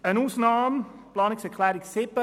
Eine Ausnahme besteht bei der Planungserklärung 7.